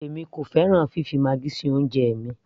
èmi kò fẹ́ràn fifi maggi sí oúnjẹ mi